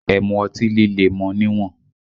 Ẹ mu ọtí líle mọ níwọ̀n!